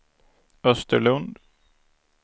Österlund